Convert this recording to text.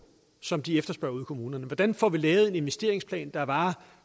som de efterspørger ude i kommunerne hvordan får vi lavet en investeringsplan der varer